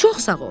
Çox sağ ol.